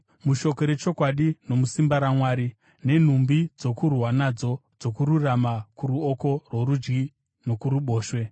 mushoko rechokwadi nomusimba raMwari; nenhumbi dzokurwa nadzo dzokururama kuruoko rworudyi nokuruboshwe,